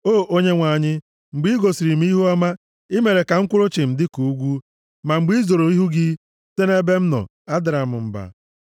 O Onyenwe anyị, mgbe i gosiri m ihuọma, i mere ka m kwụrụ chịm dịka ugwu; ma mgbe i zoro ihu gị site nʼebe m nọ, adara m mba.